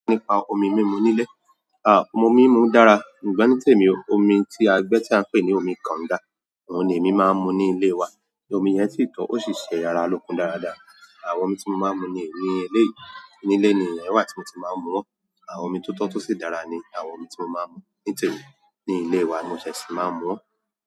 Nípa omi mi mú nílé, omi mi mú dára, ṣùgbọ́n ni temi o omi tí a gbẹ́ tí a ń pè ní omi kangá, òun ni èmi máa ń mu ní ilé wa. Omi yẹn sí tọ́ ọ́ sì ṣe ara lókun dáradára. Àwọn omi tí mo máa ń mu ni eléyi, ní ilé nì iyen wà tí mo ti máa ń mu. Àwọn omi tó tọ́ tó sì dára ni àwọn omi tí mo máa ń mu. Ní tẹ̀mi, ní ilé wa ni mo ṣẹ̀ṣẹ̀ máa ń mu.